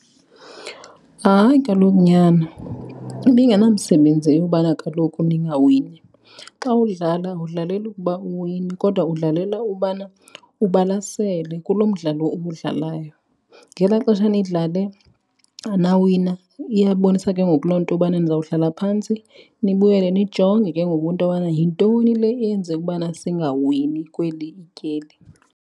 Hayi, kaloku nyana ibingenamsebenzi eyobana kaloku ningawini. Xa udlala awudlaleli ukuba uwine kodwa udlalela ubana ubalasele kulo mdlalo uwudlalayo. Ngelaa xesha nidlale anawina iyabonisa ke ngoku loo nto ubana nizawuhlala phantsi nibuyele nijonge ke ngoku into yobana yintoni le eyenze ukubana singawini kweli tyeli.